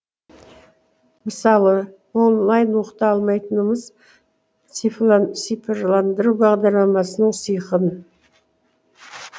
мысалы онлайн оқыта алмайтынымыз цифрландыру бағдарламасының сыйқын